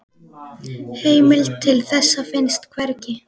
Heimild til þessa finnst hvergi.